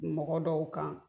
Bi mɔgɔ dɔw kan